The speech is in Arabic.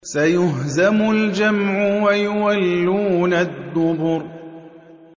سَيُهْزَمُ الْجَمْعُ وَيُوَلُّونَ الدُّبُرَ